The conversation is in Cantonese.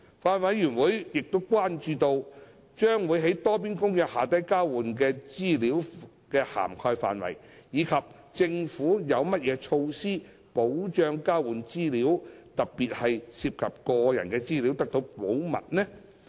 法案委員會關注到，將會在《多邊公約》下交換的資料的涵蓋範圍，以及政府有何措施保障交換的資料，特別是涉及個人的資料，得到保密。